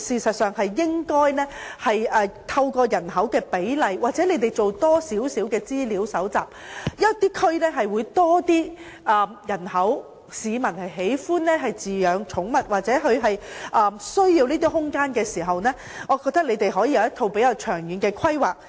我認為政府應該搜集更多資料，某些地區可能有較多市民喜歡飼養寵物或他們需要這些空間，當局便可從而作出較長遠的規劃。